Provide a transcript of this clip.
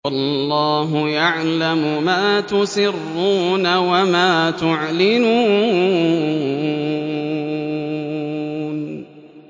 وَاللَّهُ يَعْلَمُ مَا تُسِرُّونَ وَمَا تُعْلِنُونَ